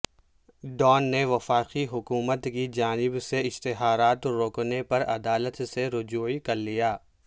Dawn نے وفاقی حکومت کی جانب سے اشتہارات روکنے پر عدالت سے رجوع کرلیا